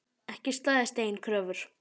Ekki staðist eigin kröfur.